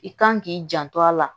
I kan k'i janto a la